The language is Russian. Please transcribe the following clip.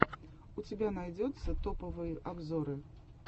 у тебя найдется топовые обзоры